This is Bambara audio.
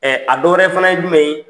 Ɛ a dɔwɛrɛ fana ye jumɛn ye.